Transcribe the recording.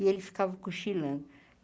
E ele ficava cochilando.